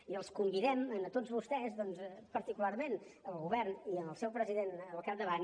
i els convidem a tots vostès doncs particularment al govern i al seu president al capdavant